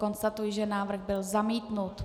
Konstatuji, že návrh byl zamítnut.